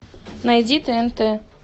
найди тнт